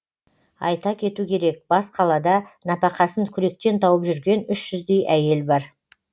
айта кету керек бас қалада нәпақасын күректен тауып жүрген үш жүздей әйел бар